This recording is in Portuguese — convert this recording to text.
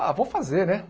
Ah, vou fazer, né?